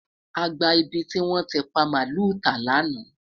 àgbà ibí ti wọn ti pa maalu ta laana